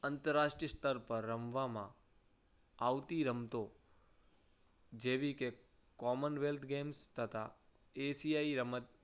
આંતરરાષ્ટ્રીય સ્તર પર રમવામાં આવતી રમતો જેવી કે commonwealth games તથા ACI રમત